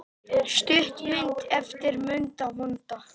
Stuttmynd eftir Munda vonda